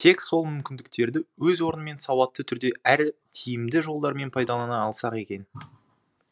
тек сол мүмкіндіктерді өз орнымен сауатты түрде әрі тиімді жолдармен пайдалана алсақ екен